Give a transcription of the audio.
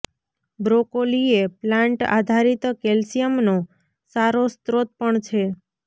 broccoli એ plant આધારિત કેલ્શિયમનો સારો સ્રોત પણ છે